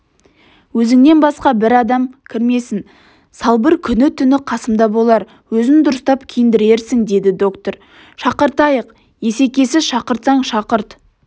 өзіңнен басқа бір адам кірмесін салбыр күні-түні қасымда болар өзін дұрыстап киіндірерсің деді доктор шақыртайық есекесі шақыртсаң шақырт